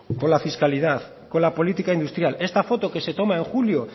con la fiscalidad con la política industrial esta foto que se toma en julio